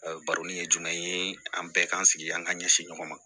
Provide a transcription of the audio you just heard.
A bɛ baroni kɛ jumɛn ye an bɛɛ k'an sigi an ka ɲɛsin ɲɔgɔn ma